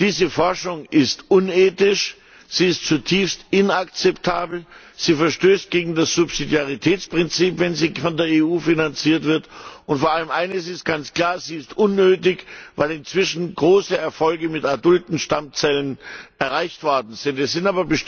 Diese Forschung ist unethisch, sie ist zutiefst inakzeptabel, sie verstößt gegen das Subsidiaritätsprinzip, wenn sie von der EU finanziert wird, und vor allem eines ist ganz klar Sie ist unnötig, weil inzwischen große Erfolge mit adulten Stammzellen erreicht worden sind!